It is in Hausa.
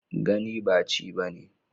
Gani ba chi ba ne.